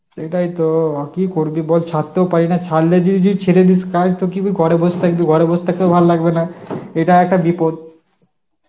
সেটাইতো, কি করবি বল ছাড়তেও পারি না ছাড়লে যদি যদি ছেড়ে দিস কাজ তো কি ঘরে বসে থাকবি ঘরে বসে থাকতেও ভালো লাগবে না, এটা একটা বিপদ.